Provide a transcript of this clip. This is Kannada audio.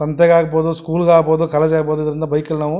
ಸಂತೆಗೆ ಆಗ್ಬಹುದು ಸ್ಕೂಲ್ ಗೆ ಆಗ್ಬಹುದು ಕಾಲೇಜು ಆಗಬಹುದು ಇದ್ರಿಂದ ಬೈಕ್ ಅಲ್ಲಿ ನಾವು--